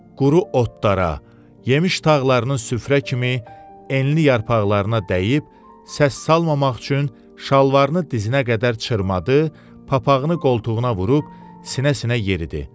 Quru otlara, yemiş tağlarının süfrə kimi enli yarpaqlarına dəyib, səs salmamaq üçün şalvarını dizinə qədər çırmadı, papağını qoltuğuna vurub sinə-sinə yeridi.